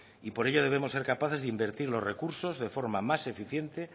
y por ello debemos de ser capaces de invertir los recursos de forma más eficiente